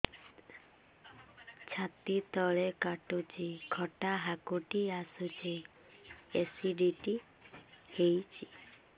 ଛାତି ତଳେ କାଟୁଚି ଖଟା ହାକୁଟି ଆସୁଚି ଏସିଡିଟି ହେଇଚି